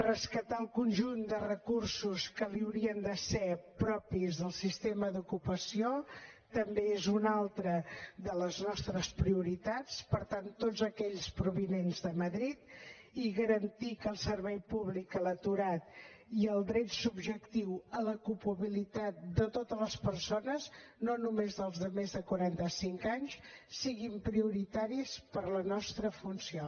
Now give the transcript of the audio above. rescatar el conjunt de recursos que li haurien de ser propis del sistema d’ocupació també és una altra de les nostres prioritats per tant tots aquells provinents de madrid i garantir que el servei públic a l’aturat i el dret subjectiu a l’ocupabilitat de totes les persones no només dels de més de quaranta cinc anys siguin prioritaris per la nostra funció